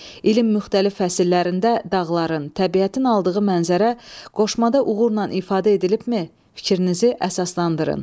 İlin müxtəlif fəsillərində dağların, təbiətin aldığı mənzərə qoşmada uğurla ifadə edilibmi, fikrinizi əsaslandırın.